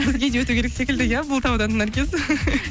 бізге де өту керек секілді иә бұл таудан наргиз